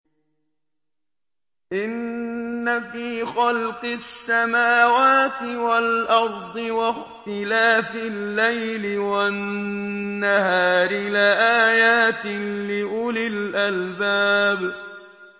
إِنَّ فِي خَلْقِ السَّمَاوَاتِ وَالْأَرْضِ وَاخْتِلَافِ اللَّيْلِ وَالنَّهَارِ لَآيَاتٍ لِّأُولِي الْأَلْبَابِ